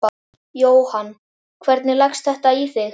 Jóhann: Hvernig leggst þetta í þig?